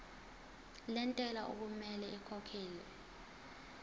lentela okumele ikhokhekhelwe